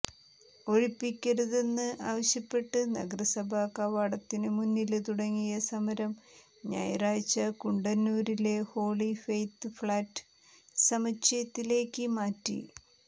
ഒഴിപ്പിക്കരുതെന്ന് ആവശ്യപ്പെട്ട് നഗരസഭാ കവാടത്തിനുമുന്നില് തുടങ്ങിയ സമരം ഞായറാഴ്ച കുണ്ടന്നൂരിലെ ഹോളി ഫെയ്ത്ത് ഫ്ളാറ്റ് സമുച്ചയത്തിലേക്ക് മാറ്റി